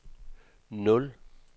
nul